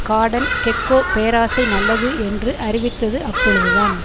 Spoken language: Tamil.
கார்டன் கெக்கோ பேராசை நல்லது என்று அறிவித்தது அப்பொழுதுதான்